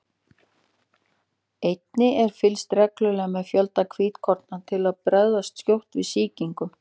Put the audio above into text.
Einnig er fylgst reglulega með fjölda hvítkorna til að bregðast skjótt við sýkingum.